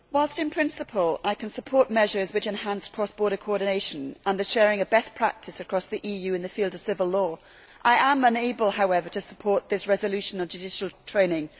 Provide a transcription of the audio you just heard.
Mr President, whilst in principle I can support measures which enhance cross border coordination and the sharing of best practice across the EU in the field of civil law, I am unable, however, to support this resolution on judicial training.